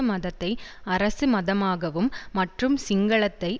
மதத்தை அரசு மதமாகவும் மற்றும் சிங்களத்தை